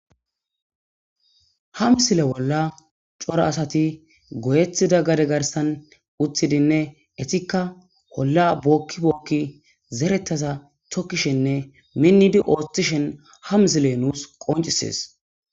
Hamzile bolla cora asati goyethida gade garsan uthidinne etikka holla bookkibookki zerettaza tokkishenne minnidi ooththishen ham zile nuus qoncisees.